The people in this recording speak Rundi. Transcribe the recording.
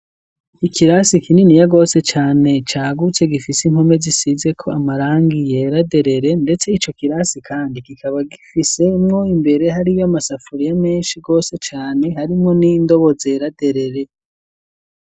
Ikirasi kininiya gose cane cagutse, gifise inpome zisizeko amarangi yera derere, ndetse ico kirasi kandi kikaba gifisemwo imbere hariyo amasafuriya menshi gose cane, harimwo n'indobo zera derere.